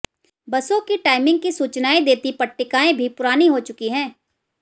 बसों की टाइमिंग की सूचनाएं देती पट्टिकाएं भी पुरानी हो चुकी हैं